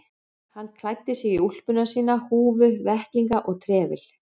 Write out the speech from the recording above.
Hann klæddi sig í úlpuna sína, húfu, vettlinga og trefil.